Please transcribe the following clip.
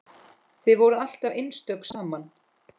Þið voruð alltaf einstök saman.